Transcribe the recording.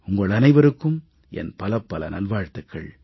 உங்கள் அனைவருக்கும் என் பலப்பல நல்வாழ்த்துக்கள்